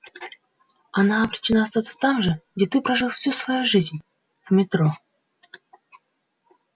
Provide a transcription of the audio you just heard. она обречена остаться там же где ты прожил всю свою жизнь в метро